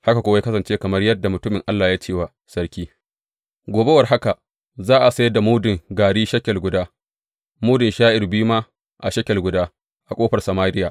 Haka kuwa ya kasance kamar yadda mutumin Allah ya ce wa sarki, Gobe war haka, za a sayar da mudun gari shekel guda, mudun sha’ir biyu ma a shekel guda, a ƙofar Samariya.